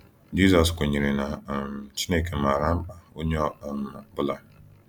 Jizọs kwenyere na um Chineke maara mkpa onye ọ um bụla.